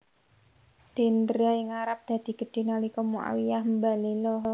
Dendra ing Arab dadi gedhé nalika Muawiyyah mbalela